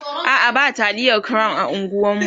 a'a ba taliyar crown a unguwanmu